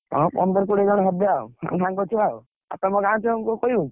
ହଁ ପନ୍ଦର କୋଡିଏ ଜଣ ହେବେ ଆଉ ସାଙ୍ଗ ଛୁଆ ଆଉ, ଆଉ ତମ ଗାଁ ଛୁଆ ।